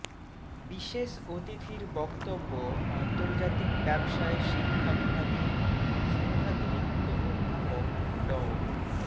বিশেষ অতিথির বক্তব্য আন্তর্জাতিক ব্যবসায় শিক্ষা বিভাগের সংখ্যাতিরিক্ত অধ্যাপক ড